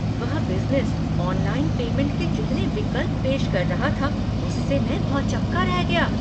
वह business online payment के जितने विकल्प पेश कर रहा था उससे मैं भौंचक्का रह गया।